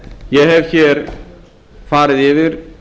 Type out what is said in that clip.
ég hef hér farið yfir